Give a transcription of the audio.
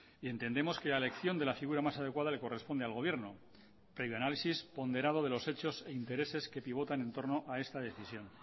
y entendemos que la elección de la figura más adecuada le corresponde al gobierno previo análisis ponderado de los hechos e intereses que pivotan en torno a esta decisión